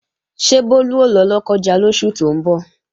Ṣé Bólú ó lọ Lọ́kọ́ja lóṣù tó ń bọ̀?